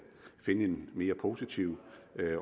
finde en mere positiv